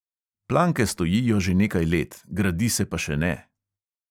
Planke stojijo že nekaj let, gradi se pa še ne.